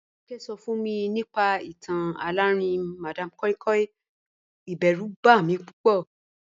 Joke so fun mi nipa itan alarinrin madam koi koi, iberu ba mi pupo.